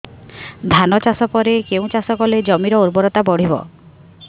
ଧାନ ଚାଷ ପରେ କେଉଁ ଚାଷ କଲେ ଜମିର ଉର୍ବରତା ବଢିବ